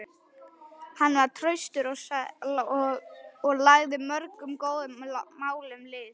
Hann var traustur og lagði mörgum góðum málum lið.